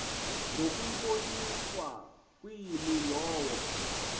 ngokuyiboniswa kwimi lowo